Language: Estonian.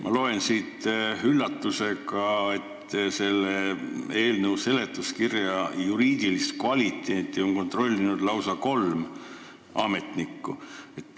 Ma loen siit üllatusega, et selle eelnõu seletuskirja juriidilist kvaliteeti on kontrollinud lausa kolm ametnikku.